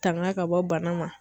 Tanga ka bɔ bana ma.